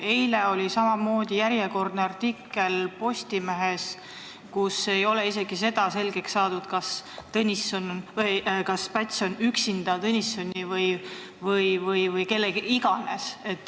Eile oli järjekordne artikkel Postimehes, kust ilmnes, et isegi see ei ole selgeks saanud, kas Päts on üksinda, koos Tõnissoni või kellega iganes.